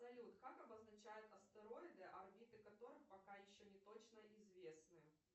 салют как обозначают астероиды орбиты которых пока еще не точно известны